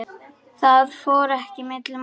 Það fór ekki milli mála.